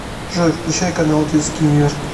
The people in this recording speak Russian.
джой включай канал детский мир